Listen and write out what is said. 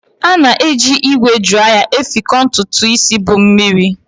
A na-eji ígwè draya efekọ ntutu isi bu mmiri.